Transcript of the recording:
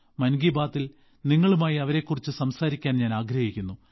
മൻ കി ബാത്തിൽ നിങ്ങളുമായി അവരെക്കുറിച്ച് സംസാരിക്കാൻ ഞാൻ ആഗ്രഹിക്കുന്നു